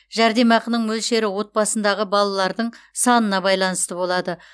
жәрдемақының мөлшері отбасындағы балалардың санына байланысты болады